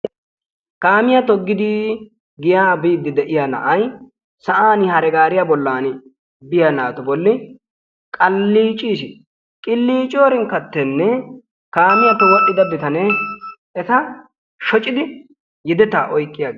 Kaamiya toggidi giya biidi de'iya na'ay sa'an hare gaariya bollan biya naatu bolli qaliicciis, qillicciyorinkkattenne kaamiyappe wodhdhida bitane eta shoccidi yedetaa oyqqi aggiis.